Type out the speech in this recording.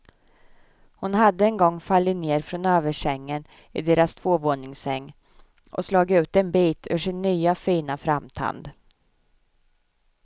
Hon hade en gång fallit ner från översängen i deras tvåvåningssäng och slagit ut en bit ur sin nya fina framtand.